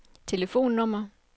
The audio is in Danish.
telefonnummer